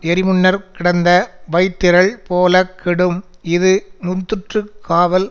எரிமுன்னர்க்கிடந்த வைத்திரள் போலக் கெடும் இது முந்துற்று காவல்